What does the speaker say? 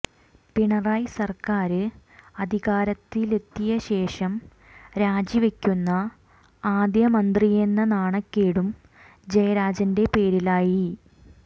പിണറായി സര്ക്കാര് അധികാരത്തിലെത്തിയശേഷം രാജിവയ്ക്കുന്ന ആദ്യ മന്ത്രിയെന്ന നാണക്കേടും ജയരാജന്റെ പേരിലായി